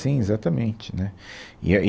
Sim, exatamente, né. E aí